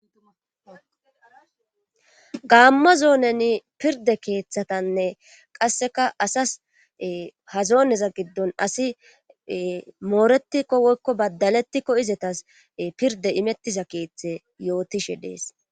gaamma zooneni pirde keeththatanne qasseka asas hazooneza giddon asi Mooretikko woykko badalettikko izetas pirde imettiza keeththe yootishe dees.